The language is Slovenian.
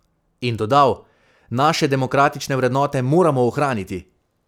In dodal: "Naše demokratične vrednote moramo ohraniti.